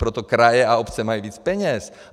Proto kraje a obce mají víc peněz.